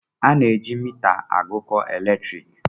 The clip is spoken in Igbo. A na-eji mita agụkọ elektriki.